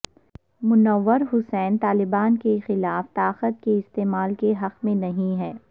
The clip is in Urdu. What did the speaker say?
منور حسن طالبان کے خلاف طاقت کے استعمال کے حق میں نہیں ہیں